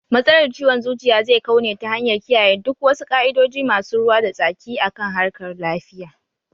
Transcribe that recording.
. Matsalar ciwon zuciya zai kau ne ta hanyar kiyayen duk wasu ka'idojin masu ruwa da tsaki akan harkar .lafiya